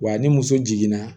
Wa ni muso jiginna